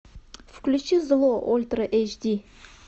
включи зло ультра эйч ди